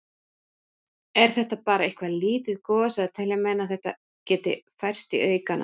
Er þetta bara eitthvað lítið gos eða telja menn að þetta geti færst í aukana?